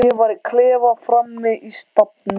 Ég var í klefa frammi í stafni.